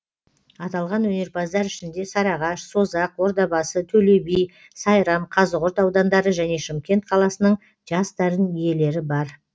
аталған өнерпаздар ішінде сарыағаш созақ ордабасы төлеби сайрам қазығұрт аудандары және шымкент қаласының жас дарын иелері бар